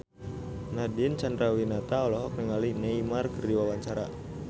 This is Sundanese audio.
Nadine Chandrawinata olohok ningali Neymar keur diwawancara